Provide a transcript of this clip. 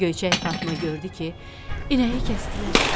Göyçək Fatma gördü ki, inəyi kəsdilər.